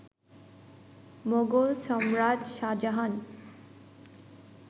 মোগল সম্রাট শাহজাহান